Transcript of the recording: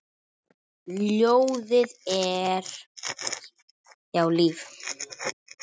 Ljóðið er líf.